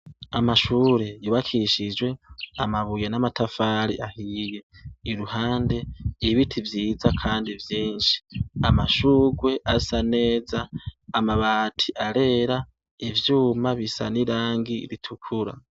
Amashure yubakishijwe amabuye n'amatafari ahiye. Iruhande ibiti vyiza kandi vyinshi. Amashugwe asa neza. Amabati arera, ivyuma bisa n'irangi ritukura.